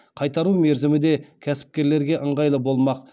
қайтару мерзімі де кәсіпкерлерге ыңғайлы болмақ